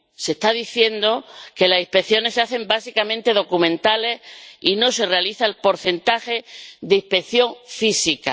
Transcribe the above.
Se está diciendo que las inspecciones que se hacen son básicamente documentales, y que no se realiza el porcentaje de inspección física.